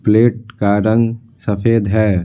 Plate का रंग सफेद है।